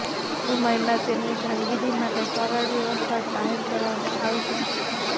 ટૂંક સમયમાં તેમની કામગીરી માટે સરળ વ્યવસ્થા જાહેર કરવામાં આવશે